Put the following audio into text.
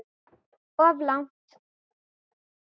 Of langt.